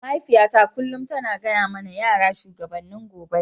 Mahaifiyata kullum tana gaya mana yara shugabannin gobe.